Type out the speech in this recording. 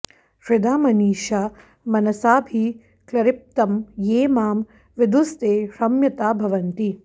हृदा मनीषा मनसाभिक्लृप्तं ये मां विदुस्ते ह्यमृता भवन्ति